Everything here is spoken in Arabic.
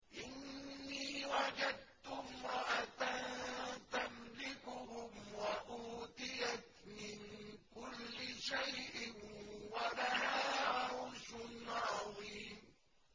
إِنِّي وَجَدتُّ امْرَأَةً تَمْلِكُهُمْ وَأُوتِيَتْ مِن كُلِّ شَيْءٍ وَلَهَا عَرْشٌ عَظِيمٌ